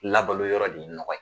Labalo yɔrɔ de ye nɔgɔ ye